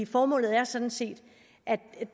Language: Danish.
formålet er sådan set at